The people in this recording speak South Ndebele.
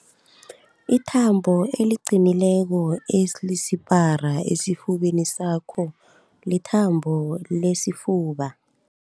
Ithambo eliqinileko elisipara esifubeni sakho lithambo lesifuba.